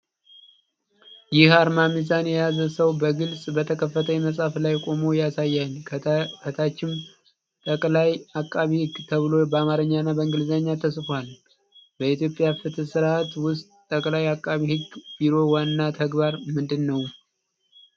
ይህ አርማ ሚዛን የያዘ ሰው በግልጽ በተከፈተ መጽሐፍ ላይ ቆሞ ያሳያል፤ ከታችም "ጠቅላይ ዐቃቤ ሕግ" ተብሎ በአማርኛና በእንግሊዝኛ ተጽፏል። በኢትዮጵያ ፍትሕ ሥርዓት ውስጥ የጠቅላይ ዐቃቤ ሕግ ቢሮ ዋና ተግባር ምንድን ነው?